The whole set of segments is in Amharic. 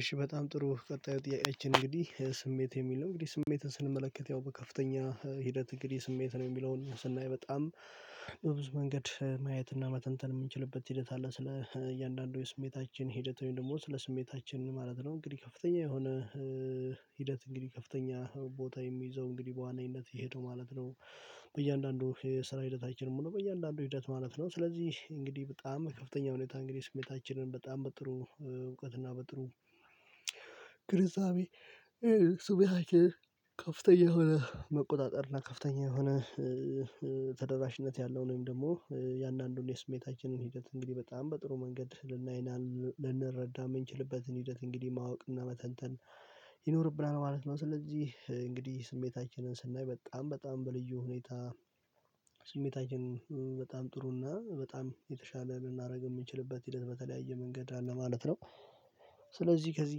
እሺ በጣም ጥሩ ቀጣዩ ጥያቄያችን እንግዲህ ስሜት የሚል ነው እንግዲህ ስሜትን ስንመለከት ያው በከፍተኛ ሂደት እንግዲህ ስሜት ነው የሚለውን ስናይ በጣም በብዙ መንገድ ማየትና መተንተን የምንችልበት ሂደት አለ ስለ እያንዳንዱ የስሜታችን ሂደት ወይም ደግሞ ስለ ስሜታችን ማለት ነው እንግዲህ ከፍተኛ የሆነ ሂደት እንግዲህ ከፍተኛ ቦታ የሚይዘው እንግዲህ በዋናኝነት የሄደው ማለት ነው። በእያንዳንዱ የስራ ሂደታችንም ነው በእያንዳንዱ ሂደት ማለት ነው ስለዚህ እንግዲህ በጣም ከፍተኛ ሁኔታ እንግዲህ ስሜታችንን በጣም በጥሩ እውቀትና በጥሩ ግንዛቤ። ስሜታችንን ከፍተኛ የሆነ መቆጣጠር እና ከፍተኛ የሆነ ተደራሽነት ያለው ወይም ደግሞ እያንድንዱን የስሜታችንን ሂደት እንግዲህ በጣም በጥሩ መንገድ ልናይና ልንረዳ የምንችልበትን ሂደት እንግዲህ ማወቅና መተንተን ይኖርብናል ማለት ነው። ስለዚህ እንግዲህ ስሜታችንን ስናይ በጣም በጣም በልዩ ሁኔታ ስሜታችን በጣም ጥሩና በጣም የተሻለ ልናደርግ የምንችልበት ሂደት በተለያየ መንገድ አለ ማለት ነው። ስለዚህ ከዚህ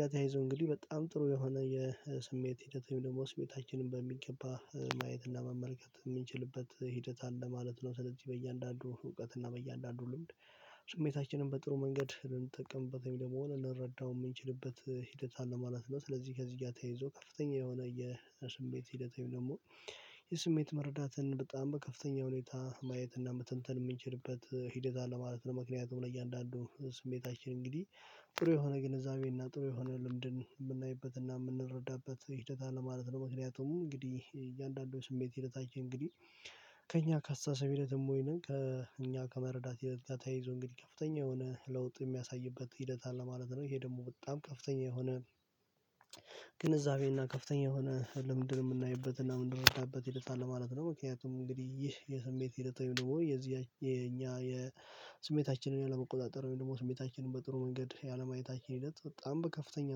ጋር ተያይዞ እንግዲህ በጣም ጥሩ የሆነ የስሜት ሂደት ወይ ደግሞ ስሜታችንን በሚገባ ማየትና መመልከት የምንችልበት ሂደት አለ ማለት ነው። ስለዚህ በእያንዳንዱ እውቀት እና በእያንዳንዱ ልምድ ስሜታችንን በጥሩ መንገድ ልንጠቀምበት ወይም ደግሞ ልንረዳው የምንችልበት ሂደት አለ ማለት ነው። ስለዚህ ከዚህ ጋር ተያይዞ ከፍተኛ የሆነ የስሜት ሂደት ወይ ደግሞ የስሜት መረዳትን በጣም በከፍተኛ ሁኔታ ማየት እና መተንተን የምንችልበት ሂደት አለ ማለት ነው። ምክንያቱም ለእያንዳንዱ ስሜታችን እንግዲህ ጥሩ የሆነ ግንዛቤና ጥሩ የሆነ ልምድን የምናይበትና የምንረዳበት ሂደት አለ ማለት ነው። ምክንያቱም እንግዲህ እያንዳንዱ ስሜት ሂደታችን እንግዲህ ከእኛ ከአስተሳሰብ ሂደትም ወይንም ከእኛ ከመረዳት ሂደት ጋር ተያይዞ እንግዲህ ከፍተኛ የሆነ ለውጥ የሚያሳይበት ሂደት አለ ማለት ነው። ይሄ ደግሞ በጣም ከፍተኛ የሆነ ግንዛቤና ከፍተኛ የሆነ ልምድን የምናይበት እና የምንረዳበት ሂደት አለ ማለት ነው። ምክንያቱም እንግዲህ ይህ የስሜት ይሄድ ወይም ደግሞ የዚህ የኛ የስሜታችንን ያለመቆጣጠር ወይም ደግሞ ስሜታችንን በጥሩ መንገድ ያለማየታችን ሂደት በጣም በከፍተኛ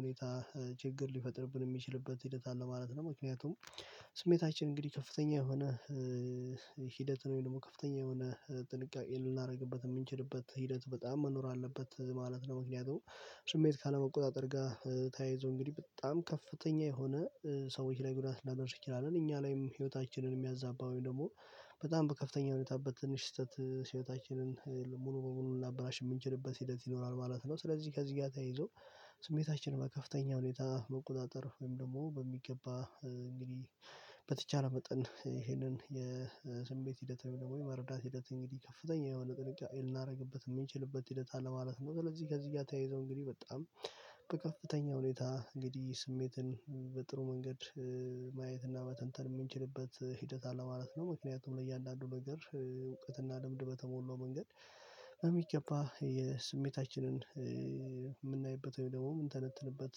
ሁኔታ ችግር ሊፈጥርብን የሚችልበት ሂደት አለ ማለት ነው። ምክንያቱም ስሜታችን እንግዲህ ከፍተኛ የሆነ ሂደት ወይ ደግሞ ከፍተኛ የሆነ ጥንቃቄ ልናደርግበት የምንችልበት ሂደት በጣም መኖር አለበት ማለት ነው። ምክንያቱም ስሜት ካለመቆጣጠር ጋር ተያይዞ እንግዲህ በጣም ከፍተኛ የሆነ ሰዎች ላይ ጉዳት ላደርስ እንችላለን እኛ ላይም ህይወታችንን የሚያዛባ ወይም ደግሞ በጣም በከፍተኛ ሁኔታ በትንሽ ስህተት ህይወታችንን ሙሉ በሙሉ ልናበላሽ የምንችልበት ሂደት ይኖራል ማለት ነው። ስለዚህ ከዚህ ጋር ተያይዞ ስሜታችን በከፍተኛ ሁኔታ መቆጣጠር ወይም ደግሞ በሚገባ እንግዲህ በተቻለ መጠን ይሄንን የስሜት ሂደት ወይ ደግሞ የመረዳት ሂደት እንግዲህ ከፍተኛ የሆነ ጥንቃቄ ልናደርግበት የምንችልበት ሂደት አለ ማለት ነው። ስለዚህ ከዚህ ጋር ተያይዞ እንግዲህ በጣም በከፍተኛ ሁኔታ እንግዲህ ስሜትን በጥሩ መንገድ ማየት እና መተንተን የምንችልበት ሂደት አለ ማለት ነው። ምክንያቱም ለእያንዳንዱ ነገር እውቀትና ልምድ በተሞላው መንገድ በሚገባ የስሜታችንን የምናይበት ወይ ደግሞ የምንተነትንበት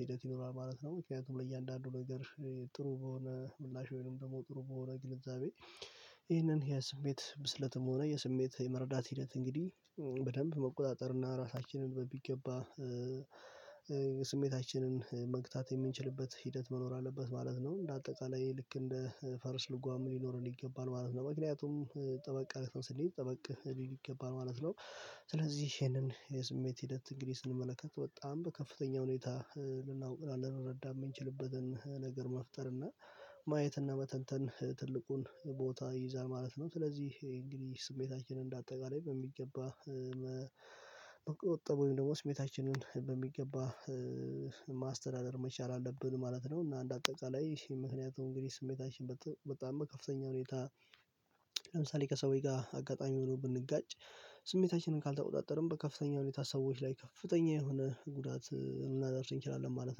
ሂደት ይኖራል ማለት ነው። ምክንያቱም ለእያንዳንዱ ነገር ጥሩ በሆነ ምላሽ ወይንም ደግሞ ጥሩ በሆነ ግንዛቤ ይህንን የስሜት ብስለትም ሆነ የስሜት የመረዳት ሂደት እንግዲህ በደንብ መቆጣጠር እና ራሳችንን በሚገባ ስሜታችንን መግታት የምንችልበት ሂደት መኖር አለበት ማለት ነው። እንደ አጠቃላይ ልክ እንደ ፈረስ ልጓም ሊኖረን ይገባል ማለት ነው። ምክንያቱም ጠበቅ ስንሄድ ጠበቅ ሊል ይገባል ማለት ነው። ስለዚህ ይሄንን የስሜት ሂደት እንግዲህ ስንመለከት በጣም በከፍተኛ ሁኔታ ልናውቅ እና ልንረዳ የምንችልበትን ነገር መፍጠር እና ማየት እና መተንተን ትልቁን ቦታ ይዛል ማለት ነው። ስለዚህ እንግዲህ ስሜታችንን እንደ አጠቃላይ በሚገባ መቆጠብ ወይም ደግሞ ስሜታችንን በሚገባ ማስተዳደር መቻል አለብን ማለት ነው። እና እንደ አጠቃላይ ምክንያቱም እንግዲህ ስሜታችን በጣም በከፍተኛ ሁኔታ ለምሳሌ ከሰዎች ጋር አጋጣሚ ሆኖ ብንጋጭ ስሜታችንን ካልተቆጣጠርን በከፍተኛ ሁኔታ ሰዎች ላይ ከፍተኛ የሆነ ጉዳት ልናደርስ እንችላለን ማለት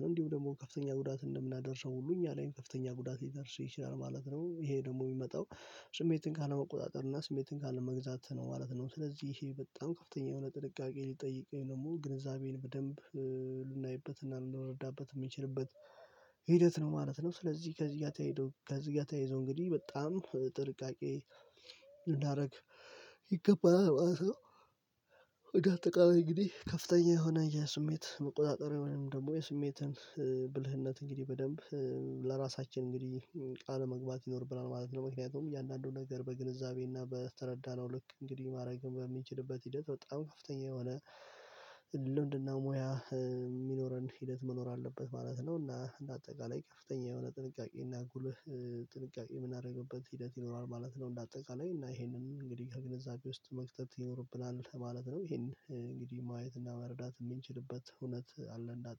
ነው። እንዲሁ ደግሞ ከፍተኛ ጉዳት እንደምናደርሰው ሁሉ እኛ ላይም ከፍተኛ ጉዳት ሊደርስ ይችላል ማለት ነው። ይሄ ደግሞ የሚመጣው ስሜትን ካለመቆጣጠር እና ስሜትን ካለመግዛት ነው ማለት ነው። ስለዚህ ይሄ በጣም ከፍተኛ የሆነ ጥንቃቄ ሊጠይቅ ወይም ደግሞ ግንዛቤን በደንብ ልናይበትና ልንረዳበት የምንችልበት ሂደት ነው ማለት ነው። ስለዚህ ከዚህ ጋር ተያይ ከዚህ ጋር ተያይዞ እንግዲህ በጣም ጥንቃቄ ልናደርግ ይገባናል ማለት። በአጠቃላይ እንግዲህ ከፍተኛ የሆነ የስሜት መቆጣጠሪያ ወይም ደግሞ የስሜትን ብልህነት እንግዲህ በደንብ ለራሳችን እንግዲህ ቃል መግባት ይኖርብናል ማለት ነው። ምክንያቱም እያንዳንዱ ነገር በግንዛቤና በተረዳነው ልክ እንግዲህ ማድረግን በምንችልበት ሂደት በጣም ከፍተኛ የሆነ ልምድና ሙያ የሚኖረን ሂደት መኖር አለበት ማለት ነው። እና እንደ አጠቃላይ ከፍተኛ የሆነ ጥንቃቄ እና ጉልህ ጥንቃቄ የምናደርግበት ሂደት ይኖራል ማለት ነው። እንደ አጠቃላይ እና ይሄንን እንግዲህ ከግንዛቤ ውስጥ መክተት ይኖርብናል ማለት ነው። ይሄን እንግዲህ ማየት እና መረዳት የምንችልበት እውነት አለ እንዳጠ